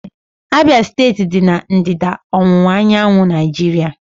Abia steeti dị na ndịda ọwụwa anyanwụ Naijiria.